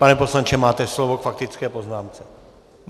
Pane poslanče, máte slovo k faktické poznámce.